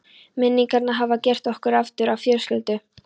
Minningarnar hafa gert okkur aftur að fjölskyldu.